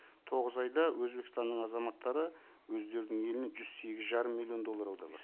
тоғыз айда өзбекстанның азаматтары өздерінің еліне жүз сегіз жарым миллион доллар аударған